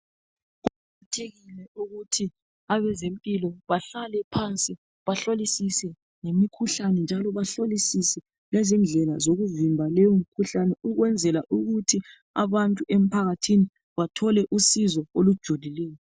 Kuqakathekile ukuthi abazempilo bahlale phansi bahlolisise ngemikhuhlane, njalo bahlolisise lezindlela zokuvimba leyo mikhuhlane ukwenzela ukuthi abantu emphakathini bathole usizo olujulileyo.